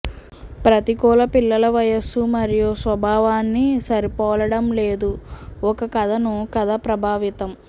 ప్రతికూల పిల్లల వయస్సు మరియు స్వభావాన్ని సరిపోలడం లేదు ఒక కథను కథ ప్రభావితం